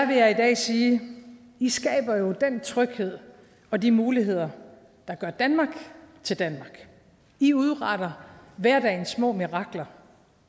vil jeg i dag sige i skaber jo den tryghed og de muligheder der gør danmark til danmark i udretter hverdagens små mirakler